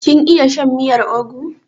Kin iya shan miyar ugwu?